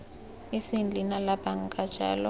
eseng leina la banka jalo